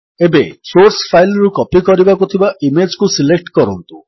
ଏବେ source file ରୁ copy କରିବାକୁ ଥିବା ଇମେଜ୍ କୁ ସିଲେକ୍ଟ କରନ୍ତୁ